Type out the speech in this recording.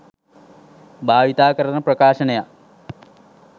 භාවිතා කරන ප්‍රකාශනයක්.